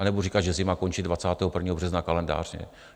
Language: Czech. A nebudu říkat, že zima končí 21. března kalendářně.